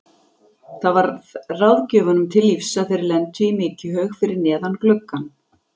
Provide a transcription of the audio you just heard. Það varð ráðgjöfunum til lífs að þeir lentu í mykjuhaug fyrir neðan gluggann.